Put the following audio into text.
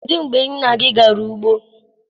kedụ mgbe nna gi gara ugbo?